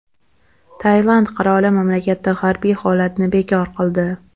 Tailand qiroli mamlakatda harbiy holatni bekor qildi.